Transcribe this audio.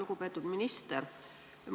Lugupeetud minister!